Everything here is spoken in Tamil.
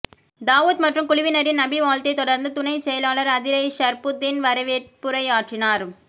தாவூத் மற்றும் குழுவினரின் நபிவாழ்த்தைத் தொடர்ந்து துணைச்செயலாளர் அதிரை ஷர்புத்தீன் வரவேற்புரையாற்றினார்